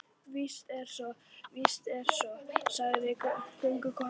Víst er svo, víst er svo, sagði göngukonan.